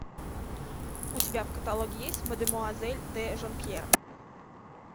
у тебя в каталоге есть мадемуазель де жонкьер